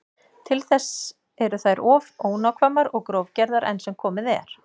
Til þess eru þær of ónákvæmar og grófgerðar enn sem komið er.